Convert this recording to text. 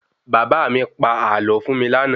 Bàbá mi pa àlọ fún mi lànà